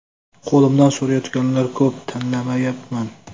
Qo‘limni so‘rayotganlar ko‘p, tanlayapman.